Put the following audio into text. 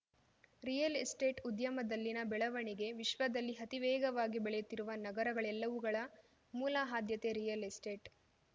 real estate ಉದ್ಯಮದಲ್ಲಿನ ಬೆಳವಣಿಗೆ ವಿಶ್ವದಲ್ಲಿ ಅತಿ ವೇಗವಾಗಿ ಬೆಳೆಯುತ್ತಿರುವ ನಗರಗಳೆಲ್ಲವುಗಳ ಮೂಲ ಆದ್ಯತೆ ರಿಯಲ್‌ ಎಸ್ಟೇಟ್‌